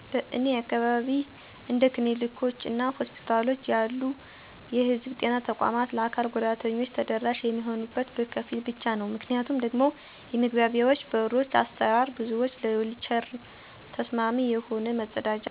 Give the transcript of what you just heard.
በእኔ አካባቢ እንደ ክሊኒኮች እና ሆስፒታሎች ያሉ የህዝብ ጤና ተቋማት ለአካል ጉዳተኞች ተደራሽ የሚሆኑት በከፊል ብቻ ነው። ምክንያቱም ደግሞ የመግቢያዎ በሮች አሰራር፣ ብዙዎች ለዊልቸር ተስማሚ የሆነ፣ መጸዳጃ ቤት፣ እና የአካል ጉዳተኞችን ታሳቢ አድርጎ አለመሰራትነው። በመሠረተ ልማት፣ በሠራተኞች ሥልጠና እና በአካታች አገልግሎት አሰጣጥ ላይ መሻሻያ ያስፈልጋል። አካል ጉዳተኞች ከማንም ማህበረሰብ እንማያንሱ መታወቅ አለበት።